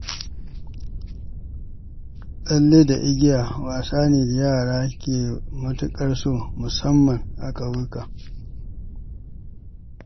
Tsalle da igiya wasa ne da yara ke matuƙar so musamman a ƙauyuka.